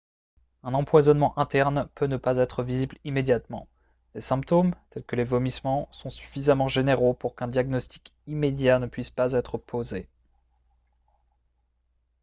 un empoisonnement interne peut ne pas être visible immédiatement les symptômes tels que les vomissements sont suffisamment généraux pour qu'un diagnostic immédiat ne puisse pas être posé